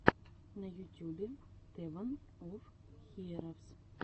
на ютюбе тэвэн оф хиэровс